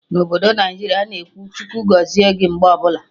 Na obodo Naijiria a-na ekwu 'Chukwu gọzie gị' mgbe ọbụla